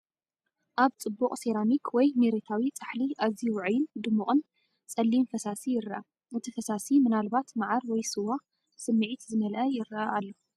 ኣብ ጽቡቕ ሴራሚክ ወይ መሬታዊ ፃሕሊ ኣዝዩ ውዑይን ድሙቕን ጸሊም ፈሳሲ ይረአ። እቲ ፈሳሲ ምናልባት ማዓር ወይ ስዋ ብስምዒት ዝመልአ ይረአ ኣሎ።